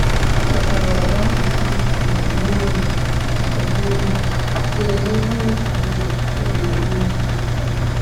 Ọ chọtara ogodo mkpuchi na uwe oyi na uwe oyi wee nye onye furu ụzọ oge oyi.